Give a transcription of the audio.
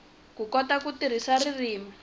ku kota ku tirhisa ririmi